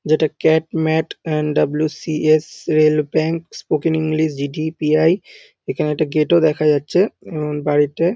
যেটা CAT MAT and WCS. Rail bank spoken English GTPI. এখানে একটা গেট -ও দেখা যাচ্ছে উম বাড়িতে।